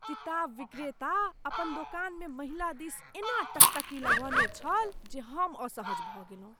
किताब विक्रेता अपन दोकानमे महिला दिस एना टकटकी लगौने छल, जे हम असहज भऽ गेलहुँ।